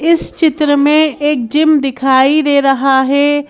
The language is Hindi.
इस चित्र में एक जिम दिखाई दे रहा है।